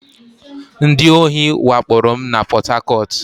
Ndị ohi wakporo m na Pọt Hakọt